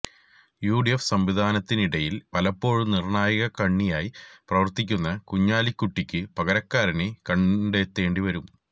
UDF സംവിധാനത്തിനിടയിൽ പലപ്പോഴും നിർണായക കണ്ണിയായി പ്രവർത്തിക്കുന്ന കുഞ്ഞാലിക്കുട്ടിക്കു പകരക്കാരനെ കണ്ടെത്തേണ്ടി വരും